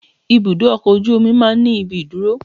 Ibùdó ọkọ̀ ojú omi máa ń ní ibi ìdúró